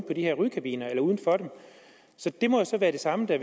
på de her rygekabiner det må så være det samme der